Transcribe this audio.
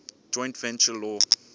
joint venture law